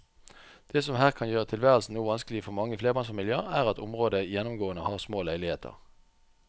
Det som her kan gjøre tilværelsen noe vanskelig for mange flerbarnsfamilier er at området gjennomgående har små leiligheter.